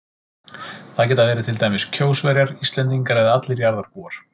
Það geta verið til dæmis Kjósverjar, Íslendingar eða allir jarðarbúar.